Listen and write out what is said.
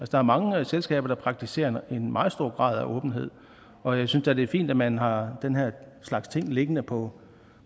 der er mange selskaber der praktiserer en meget stor grad af åbenhed og jeg synes da det er fint at man har den her slags ting liggende på